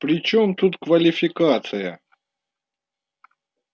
при чем тут квалификация